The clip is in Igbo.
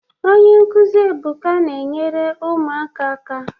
Onye nkụzi Ebuka na-enyere ụmụaka aka.